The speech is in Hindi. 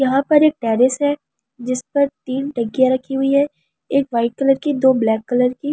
यहां पर एक टेरिस है जिस पर तीन टंकियां रखी हुई है एक वाइट कलर की दो ब्लैक कलर की।